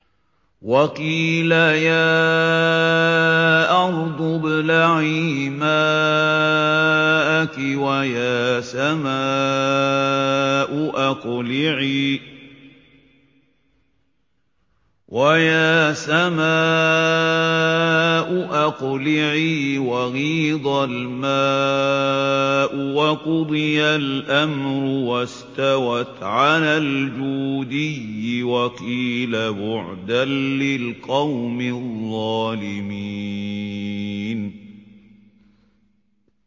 وَقِيلَ يَا أَرْضُ ابْلَعِي مَاءَكِ وَيَا سَمَاءُ أَقْلِعِي وَغِيضَ الْمَاءُ وَقُضِيَ الْأَمْرُ وَاسْتَوَتْ عَلَى الْجُودِيِّ ۖ وَقِيلَ بُعْدًا لِّلْقَوْمِ الظَّالِمِينَ